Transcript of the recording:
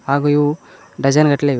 ಹಾಗೂ ಇವು ಡಜನ್ ಗಟ್ಲೆ ಇವೆ.